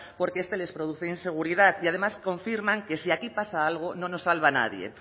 porque este les produce inseguridad y además confirman que si aquí pasa algo nos salva nadie